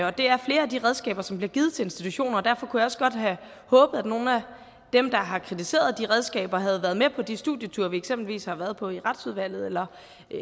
og det er flere af de redskaber som bliver givet til institutioner og derfor kunne jeg også godt have håbet at nogle af dem der har kritiseret de redskaber havde været med på de studieture vi eksempelvis har været på i retsudvalget eller